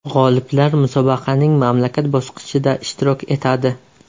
G‘oliblar musobaqaning mamlakat bosqichida ishtirok etadi.